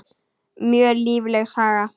Mjög lífleg saga.